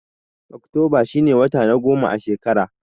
Oktoba shi ne wata na goma a shekara.